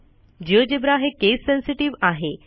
GeoGebra हे case sensitive आहे